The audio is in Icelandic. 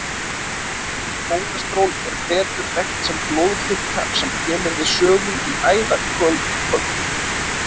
Kólesteról er betur þekkt sem blóðfita sem kemur við sögu í æðakölkun.